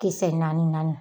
Kisɛ naani naani